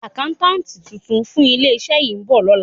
Àkáńtátì tuntun fún ilé-iṣẹ́ yìí ń bọ̀ lọ́la.